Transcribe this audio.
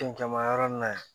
Cɛncɛnma yɔrɔ nin na yan